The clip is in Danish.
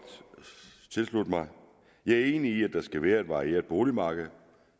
tilslutte mig jeg er enig i at der skal være et varieret boligmarked